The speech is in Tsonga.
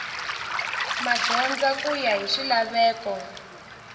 madyondza ku ya hi swilaveko